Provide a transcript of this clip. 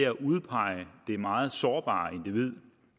at udpege det meget sårbare individ